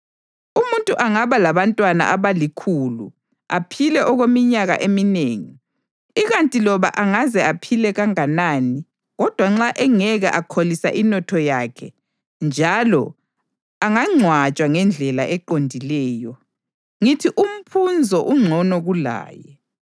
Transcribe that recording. Umuntu angaba labantwana abalikhulu aphile okweminyaka eminengi; ikanti loba angaze aphile kanganani kodwa nxa engeke akholise inotho yakhe njalo angangcwatshwa ngendlela eqondileyo, ngithi umphunzo ungcono kulaye.